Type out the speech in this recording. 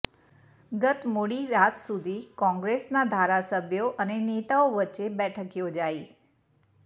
ગત મોડી રાત સુધી કોંગ્રેસના ધારાસભ્યો અને નેતાઓ વચ્ચે બેઠક યોજાઈ